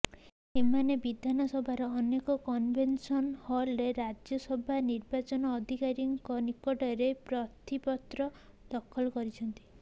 ଏମାନେ ବିଧାନସଭାର ନୂଆ କନଭେନସନ ହଲରେ ରାଜ୍ୟସଭା ନିର୍ବାଚନ ଅଧିକାରୀଙ୍କ ନିକଟରେ ପ୍ରାର୍ଥୀପତ୍ର ଦାଖଲ କରିଛନ୍ତି